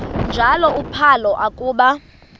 njalo uphalo akuba